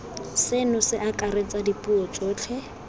seno se akaretsa dipuo tsotlhe